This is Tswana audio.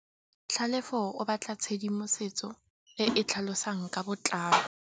Tlhalefô o batla tshedimosetsô e e tlhalosang ka botlalô.